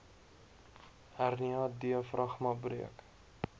hernia diafragma breuk